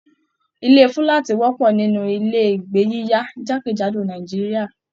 Ilé fúlàátí wọpọ nínú ilé ìgbé yiyá jakejado Nàìjíríà.